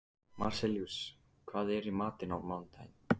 Marsellíus, hvað er í matinn á mánudaginn?